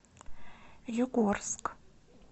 югорск